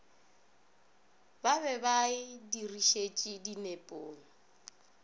be ba e dirišetše dinepong